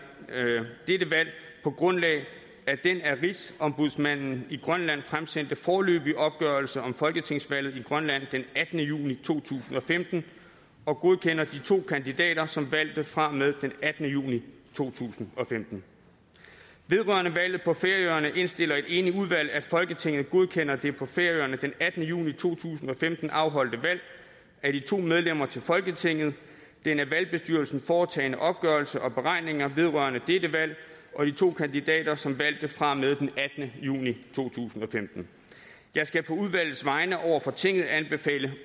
dette valg på grundlag af den af rigsombudsmanden i grønland fremsendte foreløbige opgørelse om folketingsvalget i grønland den attende juni to tusind og femten og godkender de to kandidater som valgte fra og med den attende juni to tusind og femten vedrørende valget på færøerne indstiller et enigt udvalg at folketinget godkender det på færøerne den attende juni to tusind og femten afholdte valg af de to medlemmer til folketinget den af valgbestyrelsen foretagne opgørelse og beregninger vedrørende dette valg og de to kandidater som valgte fra og med den attende juni to tusind og femten jeg skal på udvalgets vegne over for tinget anbefale